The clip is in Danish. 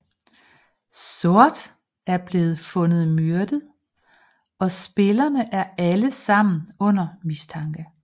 Sort er blevet fundet myrdet og spillerne er alle sammen under mistanke